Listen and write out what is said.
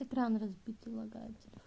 экран разбитый лагает